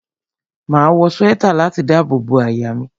Máa wọ swẹ́tà láti dábò bo àyà mi.